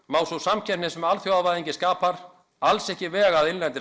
má sú samkeppni sem alþjóðavæðing skapar alls ekki vega að innlendri